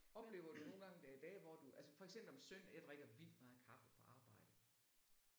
Oplever du nogle gange der er dage hvor du altså for eksempel om søndagen jeg drikker vildt meget kaffe på arbejde